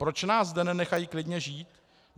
Proč nás zde nenechají klidně žít?